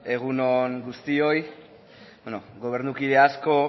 egunon guztioi beno gobernukide asko